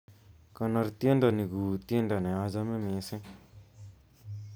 Konor tiendo ni kuu tiendo nachame mising'